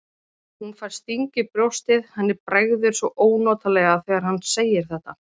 Hún fær sting í brjóstið, henni bregður svo ónotalega þegar hann segir þetta.